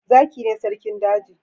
Zaki ne sarkin daji